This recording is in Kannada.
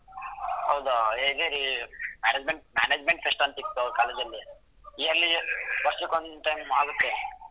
ಹೌದಾ ಅದೇ ರೀ management management fest ಅಂತಿತ್ತು college ಅಲ್ಲಿ yearly ವರ್ಷಕ್ಕೆ One time ಆಗುತ್ತೆ.